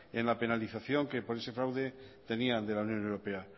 en la penalización que por ese fraude tenían dela unión europea